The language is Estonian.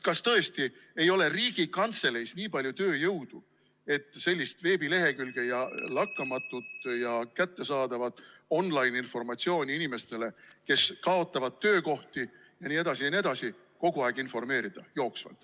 Kas tõesti ei ole Riigikantseleis nii palju tööjõudu, et sellist veebilehekülge ja lakkamatut ning kättesaadavat online-informatsiooni inimestele, kes kaotavad töökohti jne, jne, kogu aeg jooksvalt jagada?